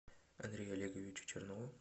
андрею олеговичу чернову